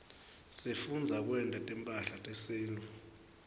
sifundza kwenta timphahla tesintfu